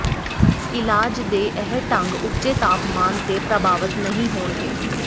ਇਲਾਜ ਦੇ ਇਹ ਢੰਗ ਉੱਚੇ ਤਾਪਮਾਨ ਤੇ ਪ੍ਰਭਾਵਤ ਨਹੀਂ ਹੋਣਗੇ